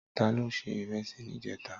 Tàló sé irèsí nijètá?